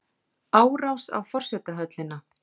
Árás á forsetahöllina